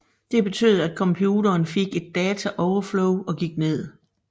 Det betød at computeren fik et data overflow og gik ned